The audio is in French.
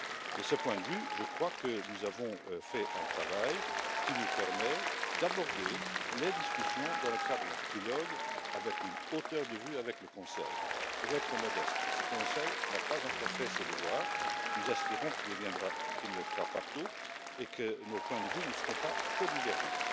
De ce point de vue, je crois que nous avons fait un travail qui nous permet d'aborder les discussions dans le cadre du trilogue avec une hauteur de vue avec le Conseil, pour être modeste, parce que le Conseil n'a pas encore fait ses devoirs. Nous espérons qu'il les fera partout et que nos points de vue ne seront pas trop divergents.